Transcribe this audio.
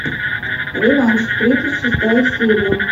реванш тридцать шестая серия